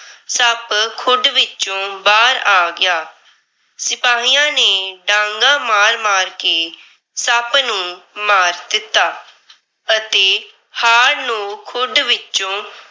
ਸੱਪ ਖੁੱਡ ਵਿੱਚੋ ਬਾਹਰ ਆ ਗਿਆ। ਸਿਪਾਹੀਆਂ ਨੇ ਡਾਂਗਾਂ ਮਾਰ-ਮਾਰ ਕੇ ਸੱਪ ਨੂੰ ਮਾਰ ਦਿੱਤਾ ਅਤੇ ਹਾਰ ਨੂੰ ਖੁੱਡ ਵਿਚੋਂ